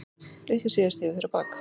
Litlu síðar stigu þeir á bak.